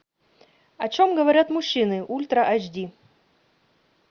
о чем говорят мужчины ультра айч ди